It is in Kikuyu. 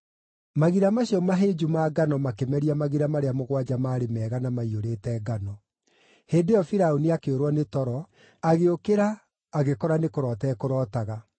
Magira macio mahĩnju ma ngano makĩmeria magira marĩa mũgwanja maarĩ mega na maiyũrĩte ngano. Hĩndĩ ĩyo Firaũni akĩũrwo nĩ toro, agĩũkĩra agĩkora nĩ kũroota ekũrootaga.